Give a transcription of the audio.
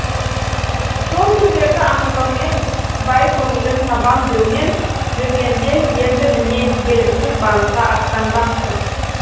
сол күндерді аңсаумен бай көңілін табам деумен жүргенде енді міне белгісіз бағытқа аттанбақшы